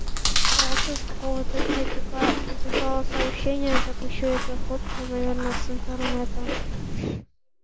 просто из какого-то чатика переслала сообщения так ещё и эта фотка наверное с интернета